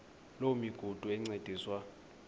loo migudu encediswa